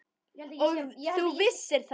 Og þú vissir það.